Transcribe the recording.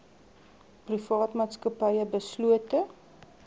private maatskappye beslote